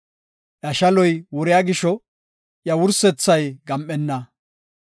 Iya shaloy wuriya gisho, iya duretethay gam7enna.